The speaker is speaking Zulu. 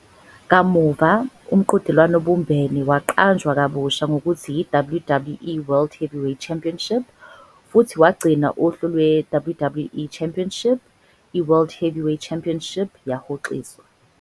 Kamuva, umqhudelwano obumbene waqanjwa kabusha ngokuthi i-WWE World Heavyweight Championship futhi wagcina uhlu lwe-WWE Championship, iWorld Heavyweight Championship yahoxiswa.